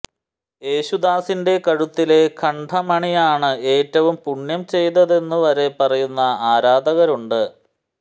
യേശുദാസിന്റെ കഴുത്തിലെ കണ്ഠമണിയാണ് എറ്റവും പുണ്യം ചെയ്തതെന്നു വരെ പറയുന്ന ആരാധകരുണ്ട്